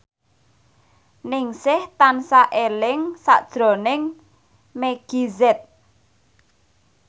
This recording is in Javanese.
Ningsih tansah eling sakjroning Meggie Z